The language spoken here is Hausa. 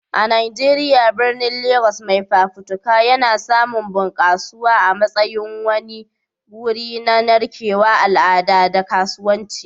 A Najeriya, birnin Legas mai fafutuka yana samun bunƙasuwa a matsayin wani wuri na narkewar al'adu da kasuwanci.